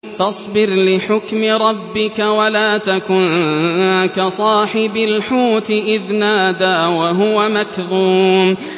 فَاصْبِرْ لِحُكْمِ رَبِّكَ وَلَا تَكُن كَصَاحِبِ الْحُوتِ إِذْ نَادَىٰ وَهُوَ مَكْظُومٌ